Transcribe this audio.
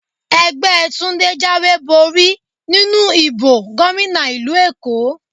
Ẹgbẹ́ Túndé jáwé borí nínú ìbò gómìnà ìlú Èkó.